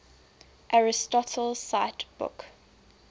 aristotle cite book